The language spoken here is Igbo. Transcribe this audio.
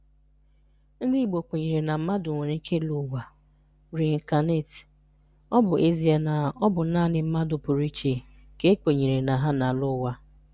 Ndị Igbo kwenyere na mmadụ nwere ike ịlọ ụwa (reincarnate), ọ bụ ezie na ọ bụ naanị mmadụ pụrụ iche ka e kwenyere na ha na-alọ ụwa.